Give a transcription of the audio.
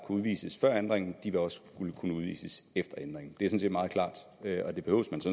udvises før ændringen også vil kunne udvises efter ændringen det set meget klart